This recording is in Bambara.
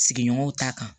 Sigiɲɔgɔnw t'a kan